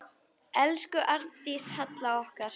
Elsku Arndís Halla okkar.